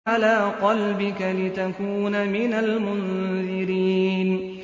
عَلَىٰ قَلْبِكَ لِتَكُونَ مِنَ الْمُنذِرِينَ